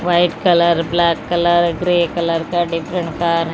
white colour black colour grey colour का different car --